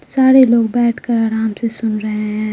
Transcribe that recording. सारे लोग बैठकर आराम से सुन रहे हैं।